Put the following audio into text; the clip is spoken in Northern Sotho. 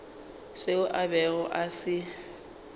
seo a bego a se